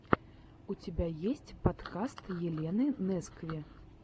у тебя есть подкаст елены нескви